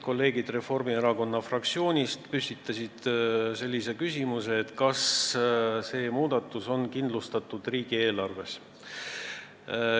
Kolleegid Reformierakonna fraktsioonist püstitasid sellise küsimuse, kas see muudatus on kindlustatud riigieelarves.